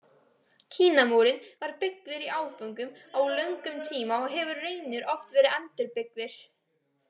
Kínamúrinn var byggður í áföngum á löngum tíma og hefur raunar oft verið endurbyggður.